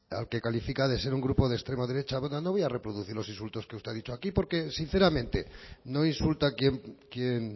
al que califica de ser un grupo de extrema derecha bueno no voy a reproducir los insultos que usted ha dicho aquí porque sinceramente no insulta quien